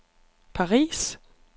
Paris